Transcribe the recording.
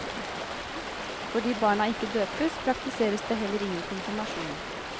Fordi barna ikke døpes, praktiseres det heller ingen konfirmasjon.